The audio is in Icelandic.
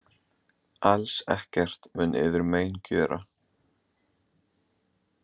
"Alls ekkert mun yður mein gjöra. """